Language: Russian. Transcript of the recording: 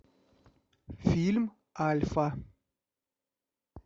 фильм альфа